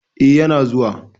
Eh, yana zuwa.